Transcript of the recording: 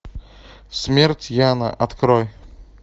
смерть яна открой